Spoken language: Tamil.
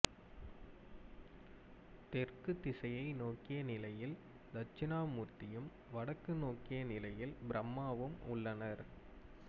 தெற்குத் திசையை நோக்கிய நிலையில் தட்சிணாமூர்த்தியும் வடக்கு நோக்கிய நிலையில் பிரம்மாவும் உள்ளனர்